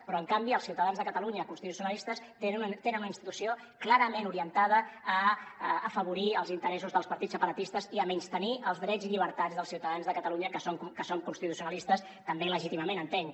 però en canvi els ciutadans de catalunya constitucionalistes tenen una institució clarament orientada a afavorir els interessos dels partits separatistes i a menystenir els drets i llibertats dels ciutadans de catalunya que som constitucionalistes també legítimament entenc